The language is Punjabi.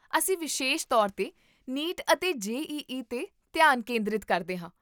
ਅਸੀਂ ਵਿਸ਼ੇਸ਼ ਤੌਰ 'ਤੇ ਨੀਟ ਅਤੇ ਜੇ.ਈ.ਈ. 'ਤੇ ਧਿਆਨ ਕੇਂਦਰਿਤ ਕਰਦੇ ਹਾਂ